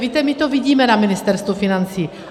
Víte, my to vidíme na Ministerstvu financí.